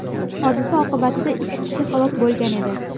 Hodisa oqibatida ikki kishi halok bo‘lgan edi.